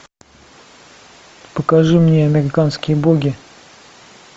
покажи мне американские боги